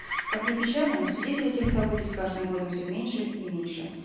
как ни печально но свидетелей тех событий с каждым годом все меньше и меньше